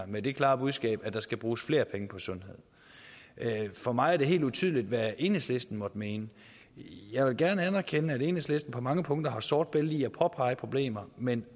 med det klare budskab at der skal bruges flere penge på sundhed for mig er det helt utydeligt hvad enhedslisten måtte mene jeg vil gerne anerkende at enhedslisten på mange punkter har sort bælte i at påpege problemer men